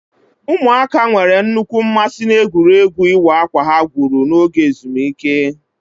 Ụmụaka nwere nnukwu mmasị n'egwuregwu ịwọ akwa ha gwuru n'oge ezumike.